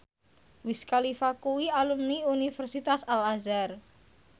Wiz Khalifa kuwi alumni Universitas Al Azhar